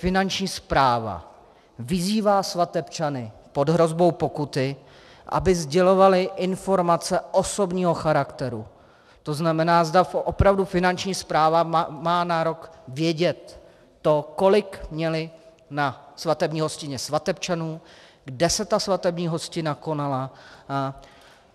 Finanční správa vyzývá svatebčany pod hrozbou pokuty, aby sdělovali informace osobního charakteru, to znamená, zda opravdu Finanční správa má nárok vědět to, kolik měli na svatební hostině svatebčanů, kde se ta svatební hostina konala.